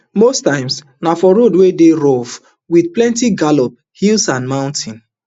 most times na for road wey dey rough wit plenti gallop hills and mountains